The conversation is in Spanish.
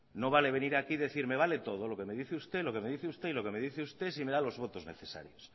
no vale venir aquí y decir me vale todo lo que me dice usted lo que me dice usted y lo que me dice usted si me da los votos necesarios